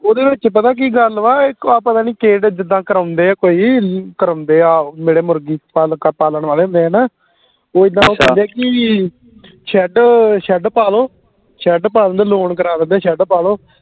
ਓਹਦੇ ਵਿਚ ਪਤਾ ਕਿ ਗੱਲ ਵਾ ਕੇ ਆ ਪਤਾ ਨੀ ਕਿਹੜੇ ਜਿੱਡਾ ਕਰਾਉਂਦੇ ਕੋਈ ਕਰਾਉਂਦੇ ਆਹੋ ਜਿਹੜੇ ਮੁਰਗੀ ਪਾਲਕ ਪਾਲਣ ਵਾਲੇ ਮੈਂ ਨਾ ਉਹ ਇਦਾ ਕਹਿੰਦੇ ਕਿ shed shed ਪਾ ਲਓ shed ਪਾ ਲੈਂਦੇ loan ਕਰਵਾ ਦਿੰਦੇ shed ਪਾਲੋ